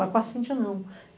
Mas com a Cintia, não.